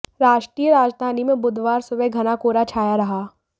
राष्ट्रीय राजधानी में बुधवार सुबह घना कोहरा छाया रहा